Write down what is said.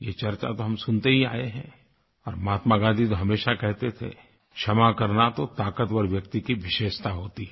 ये चर्चा तो हम सुनते ही आए हैं और महात्मा गाँधी तो हमेशा कहते थे क्षमा करना तो ताकतवर व्यक्ति की विशेषता होती है